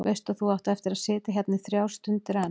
Veist að þú átt eftir að sitja hérna í þrjár stundir enn.